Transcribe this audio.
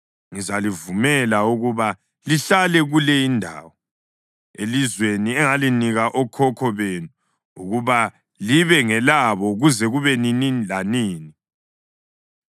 ngizalivumela ukuba lihlale kule indawo, elizweni engalinika okhokho benu ukuba libe ngelabo kuze kube nini lanini.